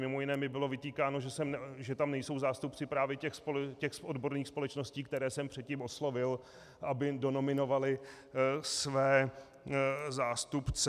Mimo jiné mi bylo vytýkáno, že tam nejsou zástupci právě těch odborných společností, které jsem předtím oslovil, aby donominovaly své zástupce.